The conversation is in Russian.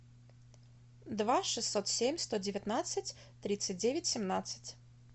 два шестьсот семь сто девятнадцать тридцать девять семнадцать